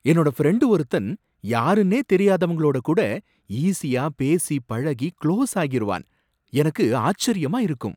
என்னோட ஃப்ரெண்டு ஒருத்தன் யாருனே தெரியாதவங்களோட கூட ஈசியா பேசி பழகி குளோஸ் ஆகிருவான், எனக்கு ஆச்சரியமா இருக்கும்